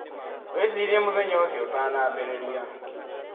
Wĩcirie mũthenya ũcio ũtanambĩrĩria.